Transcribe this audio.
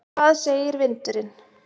Hvað segir vindurinn?